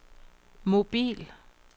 mobil